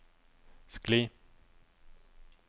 skli